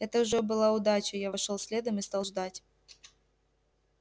это уже была удача я вошёл следом и стал ждать